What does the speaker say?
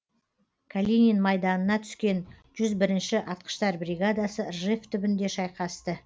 калинин майданына түскен жүз бірінші атқыштар бригадасы ржев түбінде шайқасты